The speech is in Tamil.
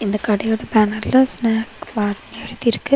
இந்த கடயோட பேனர்ல ஸ்னாக் பார்னு எழுதிருக்கு.